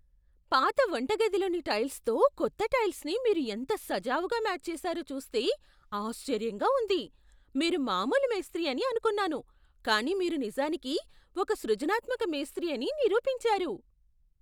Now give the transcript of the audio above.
పాత వంటగదిలోని టైల్సుతో కొత్త టైల్సుని మీరు ఎంత సజావుగా మ్యాచ్ చేశారో చూస్తే ఆశ్చర్యంగా ఉంది. మీరు మామూలు మేస్త్రి అని అనుకున్నాను, కానీ మీరు నిజానికి ఒక సృజనాత్మక మేస్త్రి అని నిరూపించారు.